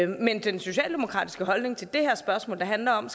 men den socialdemokratiske holdning til det her spørgsmål der handler om